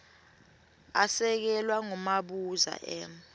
asekelwa ngumabuza m